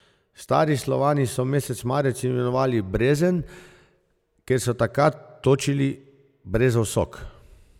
Stari Slovani so mesec marec imenovali brezen, ker so takrat točili brezov sok.